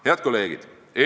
Head kolleegid!